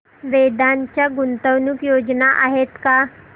वेदांत च्या गुंतवणूक योजना आहेत का